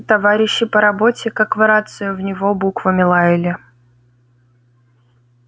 товарищи по работе как в рацию в него буквами лаяли